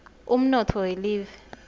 umnotfo welive